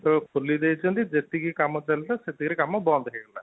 ଖୋଲି ଦେଇଛନ୍ତି, ଯେତିକି କାମ ଚାଲିଥିଲା ସେତିକି ରେ ବନ୍ଦ ହେଇଗଲା |